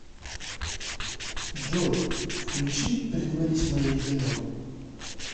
джой включи притворись моей женой